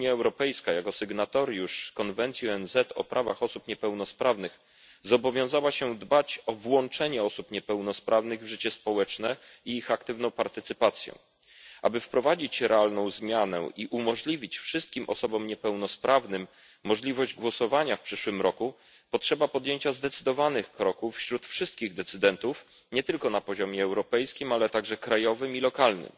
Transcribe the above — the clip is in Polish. Unia Europejska jako sygnatariusz konwencji ONZ o prawach osób niepełnosprawnych zobowiązała się dbać o włączenie osób niepełnosprawnych w życie społeczne i ich aktywną partycypację. Aby wprowadzić realną zmianę i dać wszystkim osobom niepełnosprawnym możliwość głosowania w przyszłym roku, potrzeba podjęcia zdecydowanych kroków wśród wszystkich decydentów nie tylko na poziomie europejskim, ale także krajowym i lokalnym.